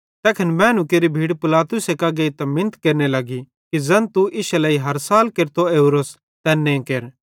तैखन मैनू केरि भीड़ पिलातुसे कां गेइतां मिन्नत केरने लग्गी कि ज़ैन तू इश्शे लेइ हर साल केरतो ओरोस तैन्ने केर